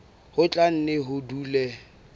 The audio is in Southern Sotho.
ho tla nne ho dule